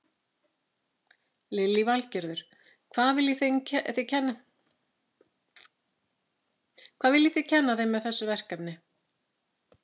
Lillý Valgerður: Hvað viljið þið kenna þeim með þessu verkefni?